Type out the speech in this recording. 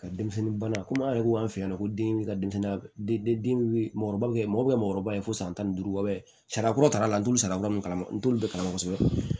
Ka denmisɛnnin bana komi an yɛrɛ ko an fɛ yan ko bin bɛ ka denmisɛnnin mɔgɔkɔrɔbaw ye mɔgɔ bɛ mɔgɔkɔrɔba ye fo san tan ni duuru bɔ sari kura ta la n'o sara wɛrɛ kama n t'olu bɛɛ kalan kosɛbɛ